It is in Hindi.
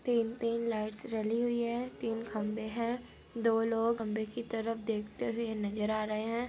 तीन-तीन लाइट्स जली हुई है तीन खम्बे है दो लोग खम्बे के तरफ देखते हुए नजर आ रहे है